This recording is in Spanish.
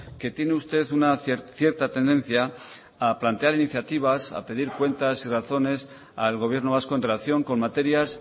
que tiene usted una cierta tendencia a plantear iniciativas a pedir cuentas y razones al gobierno vasco en relación con materias